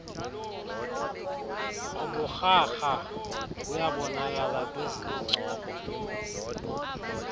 uburharha buyabonakala kwizincoko